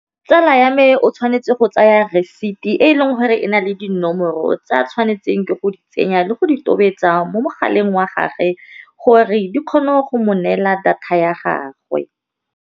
Tsala ya me o tshwanetse go tsaya receipt-e e leng gore e na le dinomoro tsa a tshwanetseng ke go di tsenya le go di tobetsa mo mogaleng wa gagwe gore, di kgone go mo neela data ya gagwe.